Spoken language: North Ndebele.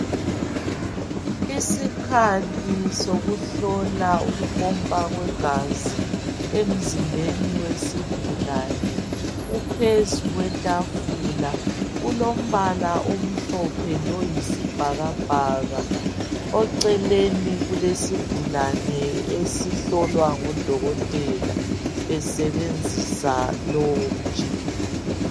Isikhathi sokuhlola ukupompa kwegazi emzimbeni wesigulani kuphezu kwetafula ,kulombala omhlophe loyisibhakabhaka ,oceleni kulesigulane esihlolwa ngudokotela esebenzisa lowo mtshina.